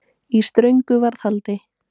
Í STRÖNGU VARÐHALDI